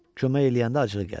Kömək eləyəndə acığı gəlir.